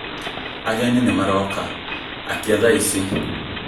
Ageni nĩ maroka, akia thaa ici